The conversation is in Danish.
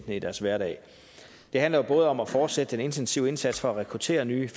i deres hverdag det handler både om at fortsætte den intensive indsats for at rekruttere nye